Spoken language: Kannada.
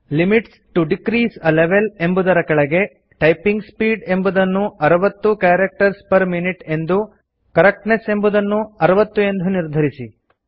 limits to decrease a level ಎಂಬುದರ ಕೆಳಗೆ ಟೈಪಿಂಗ್ ಸ್ಪೀಡ್ ಎಂಬುದನ್ನು 60 ಕ್ಯಾರಕ್ಟರ್ಸ್ ಪೆರ್ ಮಿನ್ಯೂಟ್ ಎಂದು ಕರೆಕ್ಟ್ನೆಸ್ ಎಂಬುದನ್ನು 60 ಎಂದು ನಿರ್ಧರಿಸಿ